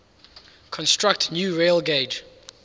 construct new railgauge